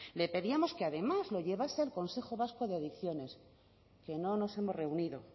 le pedíamos que además lo llevase al consejo vasco de adicciones que no nos hemos reunido